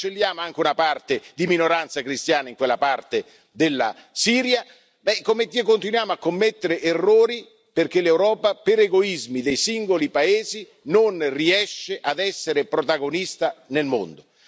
Cancelliamo anche una parte di minoranze cristiane in quella parte della Siria e continuiamo a commettere errori, perché l'Europa per egoismi dei singoli paesi non riesce ad essere protagonista nel mondo.